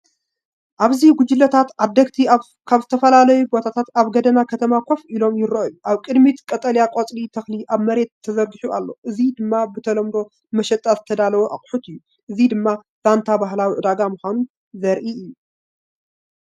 ኣብዚ ጉጅለታት ዓደግቲ ኣብ ዝተፈላለየ ቦታታት ኣብ ጎደና ከተማ ኮፍ ኢሎም ይረኣዩ። ኣብ ቅድሚት፡ቀጠልያ ቆጽሊ ተኽሊ ኣብ መሬት ተዘርጊሑ ኣሎ፡ እዚ ድማ ብተለምዶ ንመሸጣ ዝተዳለወ ኣቑሑት እዩ። እዚ ድማ ዛንታ ባህላዊ ዕዳጋ ምኳኑ ዘርኢ እዩ።